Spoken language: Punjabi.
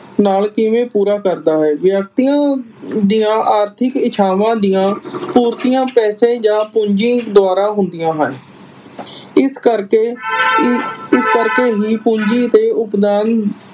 ਨਾਲ ਕਿਵੇਂ ਪੂਰਾ ਕਰਦਾ ਹੈ। ਵਿਅਕਤੀਆਂ ਦੀਆ ਆਰਥਿਕ ਇੱਛਾਵਾਂ ਦੀਆ ਪੂਰਤੀਆਂ ਪੈਸੇ ਜਾ ਪੂੰਜੀ ਦੁਆਰਾ ਹੁੰਦੀਆਂ ਹਨ। ਇਸ ਕਰਕੇ ਇਸ ਕਰਕੇ ਹੀ ਪੂੰਜੀ ਤੇ ਉਸਦਾ